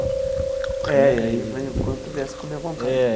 É, e aí quanto viesse comia à vontade. É.